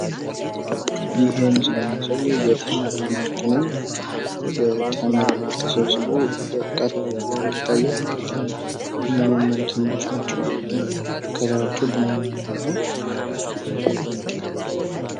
ይህ ምስል የሚያሳየው የተምር ምርት ነው። ተምር ተሰብስቦ በእቃ ተደርጎ ይታያል። የሚያማምሩ ተምሮች ናቸው። ከለራቸው ቡንኝ ነገር ነው።